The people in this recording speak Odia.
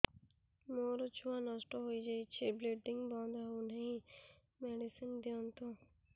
ମୋର ଛୁଆ ନଷ୍ଟ ହୋଇଯାଇଛି ବ୍ଲିଡ଼ିଙ୍ଗ ବନ୍ଦ ହଉନାହିଁ ମେଡିସିନ ଦିଅନ୍ତୁ